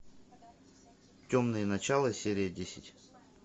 темное начало серия десять